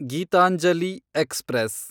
Geetanjali express